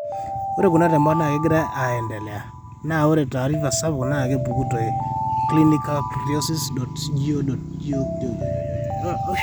ore kuna temat naa kegira aendelea ,naa ore taarifa sapuk naa kepuku te clinicaltrials.gov.